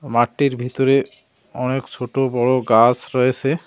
মাঠটির ভিতরে অনেক সোটো বড়ো গাস রয়েসে।